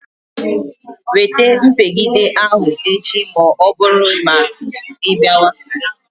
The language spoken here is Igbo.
Wete mpigide ahụ echi ma ọbụrụ na ịbịawa.